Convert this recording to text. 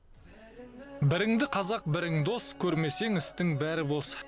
біріңді қазақ бірің дос көрмесең істің бәрі бос